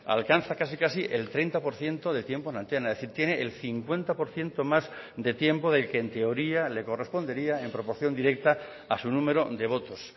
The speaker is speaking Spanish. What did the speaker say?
alcanza casi casi el treinta por ciento de tiempo en antena es decir tiene el cincuenta por ciento más de tiempo del que en teoría le correspondería en proporción directa a su número de votos